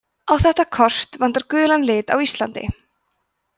á þetta kort vantar gulan lit á íslandi